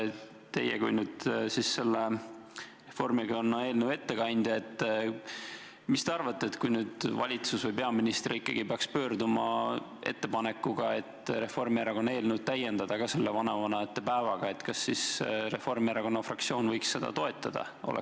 Teie kui Reformierakonna eelnõu ettekandja, mis te arvate, et kui valitsus või peaminister ikkagi peaks tegema ettepaneku, et Reformierakonna eelnõu täiendada ka selle vanavanemate päevaga, kas siis Reformierakonna fraktsioon võiks seda toetada?